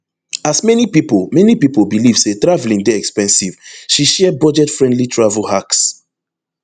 as many pipo many pipo believe say traveling dey expensive she share budgetfriendly travel hacks